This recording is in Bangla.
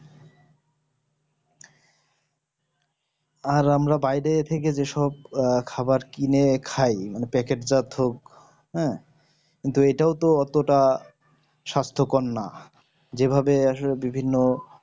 আর আমরা বাইরে থেকে যেসব খাবার কিনে খাই মানে packet যা থো হ্যাঁ এটাও তো অতটা সাস্থ কর না যেভাবে আসলে বিভিন্ন